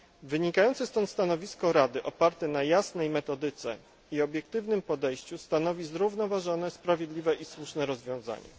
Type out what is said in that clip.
Wynikające stąd stanowisko Rady oparte na jasnej metodyce i obiektywnym podejściu stanowi zrównoważone, sprawiedliwe i słuszne rozwiązanie.